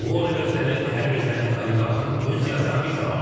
Bu onu göstərir ki, hər bir zəngin oliqarxın öz siyasi ambisiyaları var.